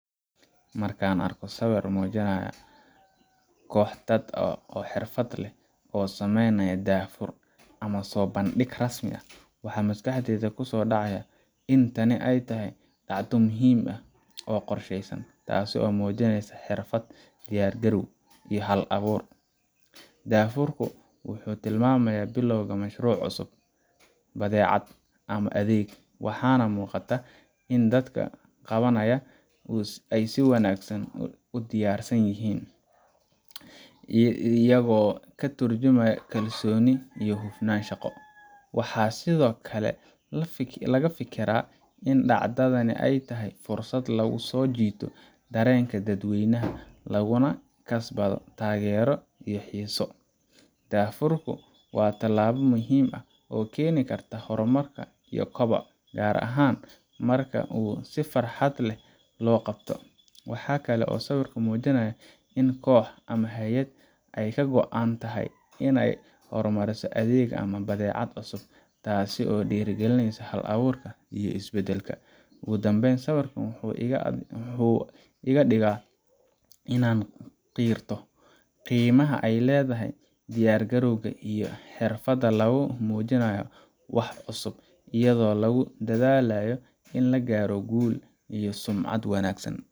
Marka aan arko sawir muujinaya qox dad ah oo xirfad leh oo sameynaya daahfur ama soo bandhigid rasmi ah, waxa maskaxdayda ku soo dhacaya in tani ay tahay dhacdo muhiim ah oo qorshaysan, taas oo muujinaysa xirfad, diyaargarow, iyo hal abuur. daahfur ku wuxuu tilmaamayaa bilowga mashruuc cusub, badeecad, ama adeeg, waxaana muuqata in dadka qabanaya ay si wanaagsan u diyaarsan yihiin, isagoo ka tarjumaya kalsooni iyo hufnaan shaqo. Waxaan sidoo kale ka fikiraa in dhacdadani ay tahay fursad lagu soo jiito dareenka dadweynaha, laguna kasbado taageero iyo xiiso. daahfur ku waa tallaabo muhiim ah oo keeni karta horumar iyo koboc, gaar ahaan marka uu si xirfad leh loo qabto. Waxa kale oo sawirku muujinayaa in koox ama hay’ad ay ka go’an tahay inay horumariso adeeg ama badeecad cusub, taas oo dhiirrigelisa hal abuur iyo isbeddel. Ugu dambeyn, sawirkan wuxuu iga dhigaa inaan qirto qiimaha ay leedahay diyaargarowga iyo xirfadda lagu muujiyo wax cusub, iyadoo lagu dadaalayo in la gaaro guul iyo sumcad wanaagsan.